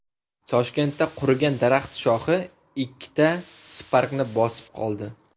Toshkentda qurigan daraxt shoxi ikkita Spark’ni bosib qoldi.